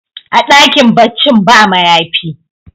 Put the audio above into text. a dakin baccin ba mayafi